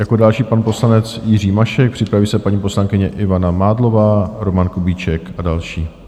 Jako další pan poslanec Jiří Mašek, připraví se paní poslankyně Ivana Mádlová, Roman Kubíček a další.